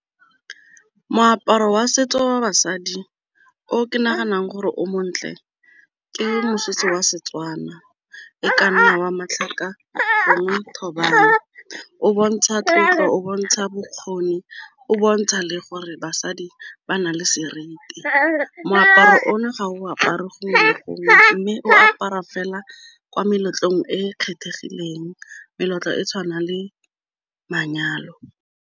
Moaparo wa setso wa basadi o ke naganang gore o montle ke mosese wa Setswana e ka nna wa matlhaka, gongwe thobane, o bontsha tlotlo, o bontsha bokgoni, o bontsha le gore basadi ba na le seriti. Moaparo o no ga o apare go wa me o apara fela kwa meletlong e e kgethegileng, meletlo e tshwanang le manyalo.